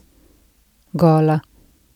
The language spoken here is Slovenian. Gola!